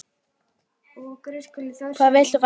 Hvað viltu faðir minn?